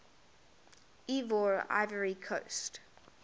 ivoire ivory coast